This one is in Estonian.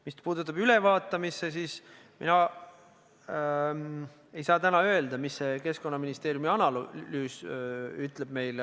Mis puutub ülevaatamisse, siis mina ei saa täna öelda, mida Keskkonnaministeeriumi analüüs meile ütleb.